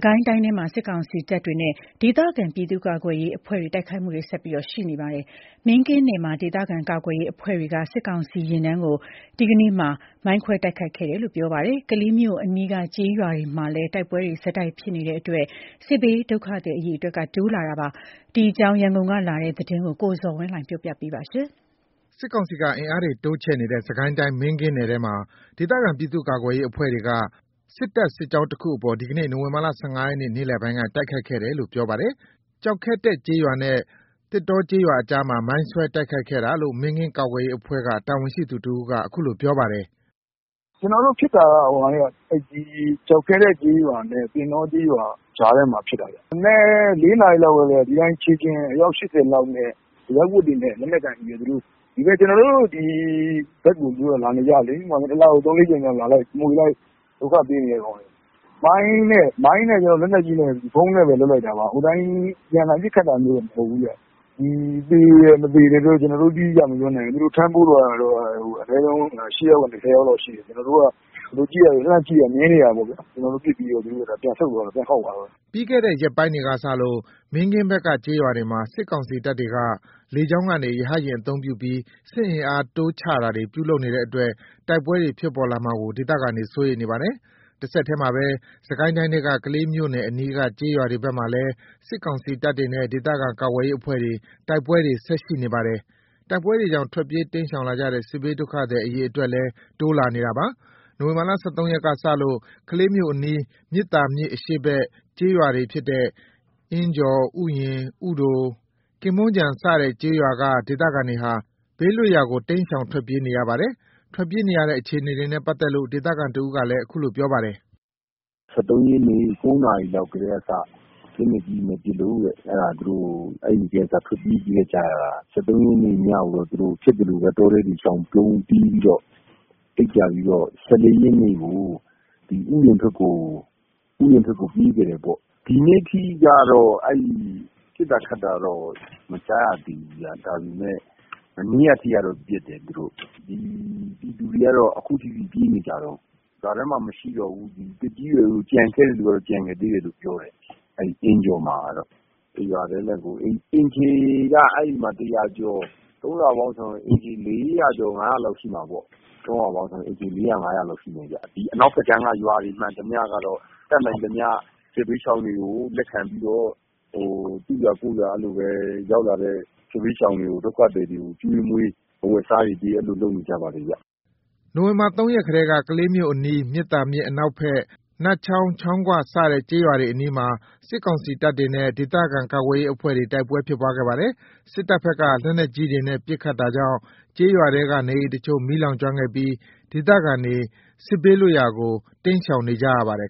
ကိုင်းတိုင်းထဲမှာ စစ်ကောင်စီတပ်တွေနဲ့ ဒေသခံပြည်သူ့ကာကွယ်ရေးအဖွဲ့တွေ ဆက်ပြီး တိုက်ခိုက်နေကြပါတယ်။ မင်းကင်းနယ်မှာ ဒေသခံကာကွယ်ရေးအဖွဲ့တွေက စစ်ကောင်စီယာဉ်တန်းကို ဒီနေ့ နိုဝင်ဘာ ၁၅ ရက်မှာ မိုင်းခွဲတိုက်ခိုက်ခဲ့တယ် လို့ ပြောပါတယ်။ ကလေးမြို့အနီးက ကျေးရွာတွေမှာလည်း တိုက်ပွဲတွေ ဆက်တိုက်ဖြစ်နေတဲ့အတွက် စစ်ဘေးဒုက္ခသည် အရေအတွက်တိုးလာနေပါတယ်။ ဒီအကြောင်း ရန်ကုန်ကလာတဲ့သတင်းကို ကိုဇော်ဝင်းလှိုင်က တင်ပြပေးထားပါတယ်။ စစ်တပ်ဘက်က စစ်အင်အားတွေတိုးချဲ့နေတဲ့ စစ်ကိုင်းတိုင်း မင်းကင်းနယ်ထဲမှာ ဒေသခံ ပြည်သူ့ကာကွယ်ရေးအဖွဲ့တွေက စစ်တပ်စစ်ကြောင်းတခုကို ဒီကနေ့ နိုဝင် ဘာ ၁၅ ရက် နေ့လည်ပိုင်းက တိုက်ခိုက်ခဲ့တယ်လို့ ပြောပါတယ်။ ကျောက်ခဲတက်ကျေးရွာနဲ့ သင်တောကျေးရွာ ကြားမှာ မိုင်းဆွဲတိုက်ခိုက်ခဲ့တာလို့ မင်းကင်း ကာကွယ်ရေးအဖွဲ့ တာဝန်ရှိသူတဦးက အခုလိုပြောပါတယ်။ “ကျနော်တို့ဖြစ်တာက ကျောက်ခဲတက်ကျေးရွာနဲ့ သင်တော ကျေးရွာကြားထဲမှာ ဖြစ်တာ။ မနက် ၄ နာရီ လောက်ကတည်းက။ ဒီအတိုင်း ခြေလျင် အယောက် ၈၀ လောက်နဲ့ အရပ်ဝတ်တွေနဲ့ လက်နက်ကိုင်ပြီးတော့ ကျနော်တို့ဒီဘက်ကို သူတို့က လာနေကြလေ။ တလကို ၃/၄ ကြိမ်လောက် လာလိုက်၊ မွှေလိုက်၊ ဒုက္ခ ပေးနေတာ။ မိုင်းနဲ့ လက်နက်ကြီးနဲ့ ဗုံးနဲ့ပဲလုပ်လိုက်တာပါ။ အပြန်အလှန် ပစ်ခတ်တာမျိုးတော့ မဟုတ်ဘူးခင်ဗျ။ သေတယ် မသေတယ်တော့ တိတိကျကျမပြောနိုင်ဘူး။ ထမ်းပိုးသွားတာတော့ အနည်းဆုံး ၈ ယောက်ကနေ ၁၀ ယောက်လောက်ရှိတယ်။ သူတို့ကို လှမ်းကြည့်တော့ မြင်နေကြတယ်။ ကျနော်တို့ ပစ်လိုက်တော့ သူတို့က ပြန်ဆုတ်သွားတယ်။ ပြန်ခေါက်သွားတယ်။” ပြီးခဲ့တဲ့ရက်ပိုင်းတွေကစလို့ မင်းကင်းဘက်က ကျေးရွာတွေမှာ စစ်ကောင်စီတပ်တွေဟာ လေကြောင်းကနေ ရဟတ်ယာဉ်အသုံးပြုပြီး စစ်အင်အား တိုးချတာတွေ ပြုလုပ်နေတဲ့အတွက် တိုက်ပွဲတွေဖြစ်ပေါ်လာမှာကို ဒေသခံတွေ စိုးရိမ်နေပါတယ်။ တဆက်တည်းမှာပဲ စစ်ကိုင်းတိုင်းထဲက ကလေးမြို့နယ် အနီးက ကျေးရွာတွေဘက်မှာလည်း စစ်ကောင်စီတပ်တွေနဲ့ ဒေသခံကာကွယ်ရေးအဖွဲ့တို့ကြား တိုက်ပွဲတွေဆက်ရှိနေပါတယ်။ တိုက်ပွဲတွေကြောင့် ထွက်ပြေးတိမ်းရှောင်လာကြတဲ့ စစ်ဘေးဒုက္ခသည် အရေအတွက်လည်း တိုးလာနေပါတယ်။ နိုဝင်ဘာ ၁၃ ရက်ကစလို့ ကလေးမြို့အနီး မြစ်သာမြစ်အရှေ့ဘက် ကျေးရွာတွေဖြစ်တဲ့ အင်းကျော်၊ ဥယျာဉ်၊ ဥတို၊ ကင်းမွန်ခြုံစတဲ့ ကျေးရွာက ဒေသခံတွေဟာ ဘေးလွတ်ရာကို ကျေးရွာတွေကို တိမ်းရှောင်ထွက်ပြေးနေရပါတယ်။ ထွက်ပြေးနေရတဲ့ အခြေအနေနဲ့ ပတ်သက်လို့ ဒေသခံတဦးက အခုလိုပြောပါတယ်။ “၁၃ ရက်နေ့ ၉ နာရီလောက်ကတည်းကစပြီး လက်နက်ကြီးတွေနဲ့ပစ်လို့။ အဲ့ဒါ သူတို့ အဲ့ကတည်းက ထွက်ပြေးခဲ့ကြရတာ။ ၁၃ ရက်နေ့ညကိုတော့ ဖြစ်သလိုပဲ တောထဲတွေရှောင်ပုန်း အိပ်ကြပြီးတော့ ၁၄ ရက်နေ့ကို ဥယျာဉ်ဘက်ကို ပြေးခဲ့တယ်ပေါ့။ ဒီနေ့က ပစ်တာခတ်တာတော့ မကြားရသေးဘူး။ ဒါပေမယ့် မနေ့က အထိကတော့ ပစ်တယ်။ ပြည်သူတွေက အခုထိပြေးနေကြတုန်း။ ရွာထဲမှာ မရှိကြတော့ဘူး။ သက်ကြီးရွယ်အို ကျန်ခဲ့တဲ့သူတွေက ကျန်ခဲ့သေးတယ်လို့ပြောတယ်။ အဲ့အင်းကျော်မှာကတော့ တရွာတည်းနဲ့ကို အိမ်ခြေက ၁၀၀ ကျော် ၃ ရွာပေါင်းဆို အိမ်ခြေ ၄၀၀/၅၀၀ လောက်ရှိမှာပေါ့။ အနောက်ဘက်ကမ်းက ရွာတွေမှန်သမျှကတော့ တတ်နိုင်သမျှ စစ်ဘေးရှောင်တွေကို လက်ခံပြီးတော့ သူ့ရွာကိုယ့်ရွာ ရောက်လာတဲ့ စစ်ဘေးရှောင်တွေကို ကျွေးမွေး အဝတ်အစားတွေပေး လုပ်နေကြပါတယ်။” နိုဝင်ဘာ ၃ ရက်ကလည်း ကလေးမြို့အနီး မြစ်သာမြစ် အနောက်ဘက် နတ်ချောင်း၊ ချောင်းခွ စတဲ့ကျေးရွာတွေအနီးမှာ စစ်ကောင်စီတပ်တွေနဲ့ ဒေသခံကာကွယ်ရေးအဖွဲ့တွေ တိုက်ပွဲဖြစ်ပွားခဲ့ပါတယ်။ စစ်တပ်ဘက်က လက်နက်ကြီးတွေနဲ့ ပစ်ခတ် တာကြောင့် ကျေးရွာထဲက နေအိမ်အချို့ မီးလောင်ကျွမ်းခဲ့ပြီး ဒေသခံတွေ စစ်ဘေးလွတ်ရာကို တိမ်းရှောင်နေကြရပါတယ်